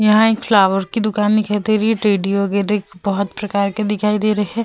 यहाँ एक फ्लावर की दूकान दिखाई दे रही है। टेडी वगेरह बहुत प्रकार के दिखाई दे रहे हैं।